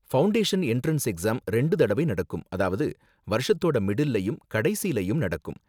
Foundation entrance exam ரெண்டு தடவை நடக்கும் அதாவது வருஷத்தோட மிடில்லயும், கடைசிலயும் நடக்கும்.